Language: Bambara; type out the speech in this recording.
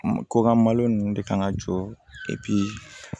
Kɔkan malo ninnu de kan ŋa jɔ